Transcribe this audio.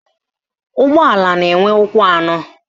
Ụgbọala na-enwe ụkwụ anọ